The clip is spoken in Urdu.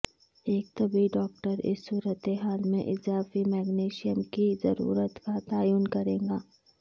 ایک طبی ڈاکٹر اس صورت حال میں اضافی میگنیشیم کی ضرورت کا تعین کرے گا